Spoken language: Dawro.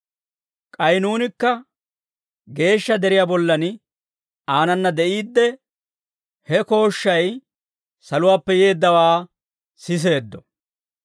K'ay nuunikka geeshsha deriyaa bollan aanana de'iidde, he kooshshay saluwaappe yeeddawaa siseeddo.